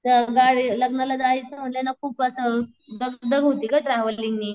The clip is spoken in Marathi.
त्या गाडी लग्नाला जायचं म्हंटल ना खूप असं दग दग होती ग ट्रॅव्हलिंग नी.